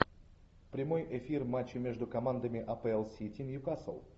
прямой эфир матча между командами апл сити ньюкасл